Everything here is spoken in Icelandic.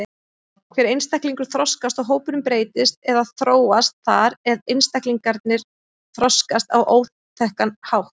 Hver einstaklingur þroskast og hópurinn breytist eða þróast þar eð einstaklingarnir þroskast á áþekkan hátt.